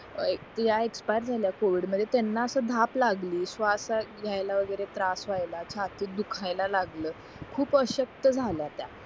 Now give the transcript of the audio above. अं त्या एक्सपायर झाल्या covid मध्ये त्यांना असं धाप लागली श्वास घेयला वगैरे त्रास व्हायला छातीत दुखायला लागला खूप अशक्त झाल्या त्या